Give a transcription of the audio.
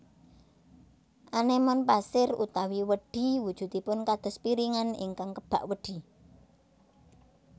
Anémon pasir utawi wedhi wujudipun kados piringan ingkang kebak wedhi